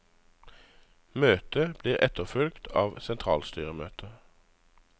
Møtet blir etterfulgt av et sentralstyremøte.